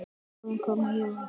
Bráðum koma jól.